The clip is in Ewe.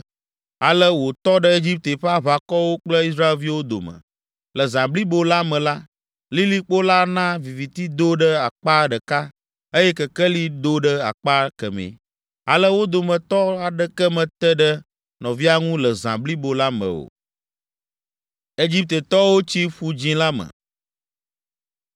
ale wòtɔ ɖe Egipte ƒe aʋakɔwo kple Israelviwo dome. Le zã blibo la me la, lilikpo la na viviti do ɖe akpa ɖeka, eye kekeli do ɖe akpa kemɛ, ale wo dometɔ aɖeke mete ɖe nɔvia ŋu le zã blibo la me o.